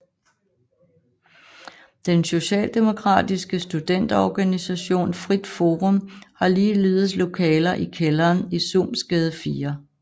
Den Socialdemokratiske studenterorganisation Frit Forum har ligeledes lokaler i kælderen i Suhmsgade 4